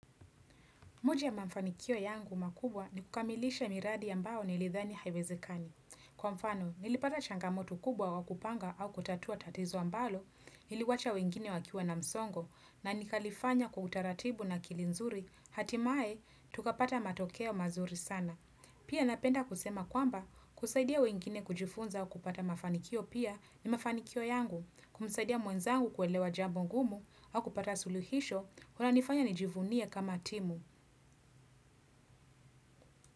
Moja ya mafanikio yangu makubwa ni kukamilisha miradi ambao nilidhani haiwezekani. Kwa mfano, nilipata changamoto kubwa wakupanga au kutatua tatizo ambalo, niliwacha wengine wakiwa na msongo, na nikalifanya kwa utaratibu na akili nzuri, hatimaye, tukapata matokeo mazuri sana. Pia napenda kusema kwamba, kusaidia wengine kujifunza au kupata mafanikio pia ni mafanikio yangu, kumsaidia mwenzangu kuelewa jambo ngumu au kupata suluhisho, kuna nifanya nijivunie kama timu.